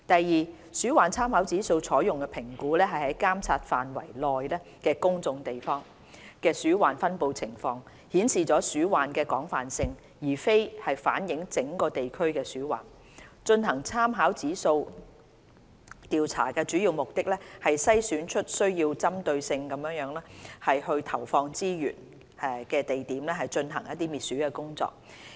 二鼠患參考指數用作評估在監察範圍內公眾地方的鼠患分布情況，顯示鼠患的廣泛性，而非反映整個地區的鼠患，進行參考指數調查的主要目的是篩選出需要針對性地投放資源的地點進行滅鼠工作。